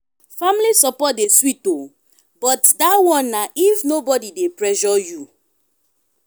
family support dey sweet o but dat one na if nobodi dey pressure you.